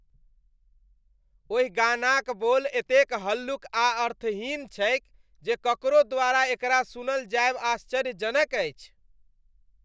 ओहि गानाक बोल एतेक हल्लुक आ अर्थहीन छैक जे ककरो द्वारा एकरा सुनल जाएब आश्चर्यजनक अछि।